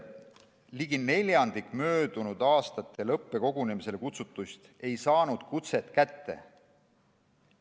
Ligi neljandik möödunud aastatel õppekogunemistele kutsutuist ei saanud kutset kätte.